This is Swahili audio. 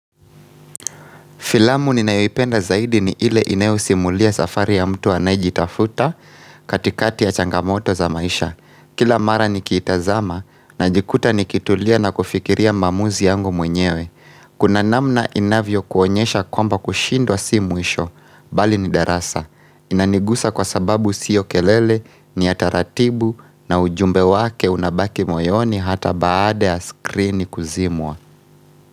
Filamu ninayoipenda zaidi ni ile inayosimulia safari ya mtu anayejitafuta katikati ya changamoto za maisha Kila mara nikiitazama na jikuta nikitulia na kufikiria maamuzi yangu mwenyewe Kuna namna inavyo kuonyesha kwamba kushindwa si mwisho bali ni darasa Inanigusa kwa sababu sio kelele ni ya taratibu na ujumbe wake unabaki moyoni hata baada ya skrini kuzimwa.